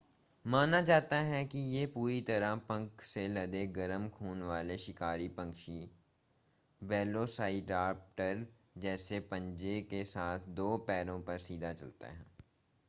माना जाता है कि यह पूरी तरह पंख से लदे गरम खून वाले शिकारी पक्षी वेलोसाइराप्टर जैसे पंजे के साथ दो पैरों पर सीधा चलते थे